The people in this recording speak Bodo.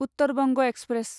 उत्तर बंग एक्सप्रेस